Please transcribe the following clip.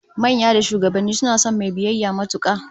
Manya da shugabanni suna son mai biyayya matuka